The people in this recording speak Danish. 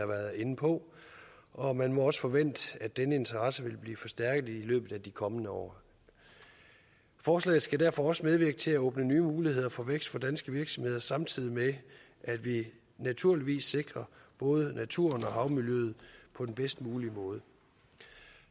været inde på og man må også forvente at denne interesse vil blive forstærket i løbet af de kommende år forslaget skal derfor også medvirke til at åbne nye muligheder for vækst for danske virksomheder samtidig med at vi naturligvis sikrer både naturen og havmiljøet på den bedst mulige måde